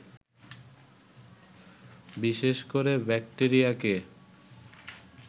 বিশেষ করে ব্যাক্টেরিয়াকে